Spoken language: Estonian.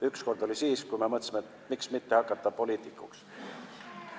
Üks kord oli siis, kui me mõtlesime, miks mitte hakata poliitikuks.